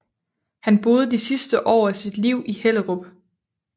Han boede de sidste år af sit liv i Hellerup